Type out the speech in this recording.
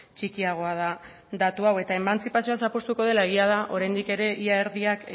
txikiagoa da datu hau eta emantzipazioa zapuztuko dela egia da oraindik ere ia erdiak